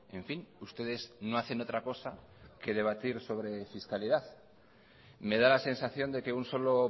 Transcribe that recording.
en fin ustedes no hacen otra cosa que debatir sobre fiscalidad me da la sensación de que un solo